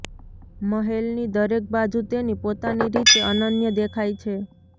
મહેલની દરેક બાજુ તેની પોતાની રીતે અનન્ય દેખાય છે